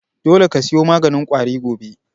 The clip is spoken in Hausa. Dole ka siyo maganin ƙwari gobe!